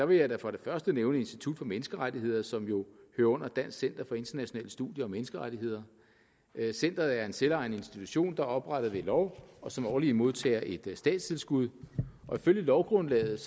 vil jeg da for det første nævne institut for menneskerettigheder som jo hører under dansk center for internationale studier og menneskerettigheder centeret er en selvejende institution der er oprettet ved lov og som årligt modtager et statstilskud og ifølge lovgrundlaget